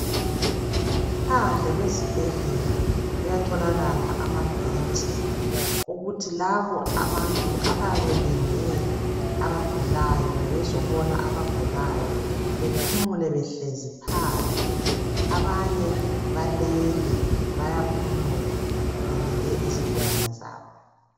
Phandle kwezibhedlela kuyatholakala amabhentshi. Ukuthi labo abantu abayabe belinde abagulayo, kumbe bezobona izigulane, bephumule, behlezi phandle. Abanye balele. bayaphumula. Belinde izigulane zabo.